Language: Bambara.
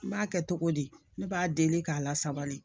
N b'a kɛ cogo di ne b'a deli k'a lasabali